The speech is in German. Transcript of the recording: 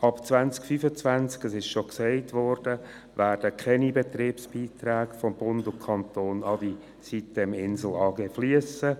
Ab 2025 – dies ist bereits erwähnt worden – werden keine Betriebsbeiträge von Bund und Kanton mehr an die sitem-Insel AG fliessen.